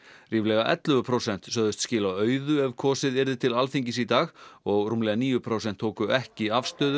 ríflega ellefu prósent sögðust skila auðu ef kosið yrði til Alþingis í dag og rúmlega níu prósent tóku ekki afstöðu